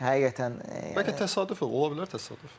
Çünki həqiqətən Bəlkə təsadüf olar təsadüf.